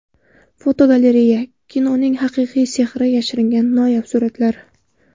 Fotogalereya: Kinoning haqiqiy sehri yashiringan noyob suratlar.